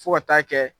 Fo ka taa kɛ